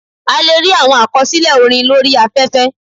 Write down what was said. A lè rí àwọn àkọsílẹ̀ orin lórí I afẹ́fẹ́.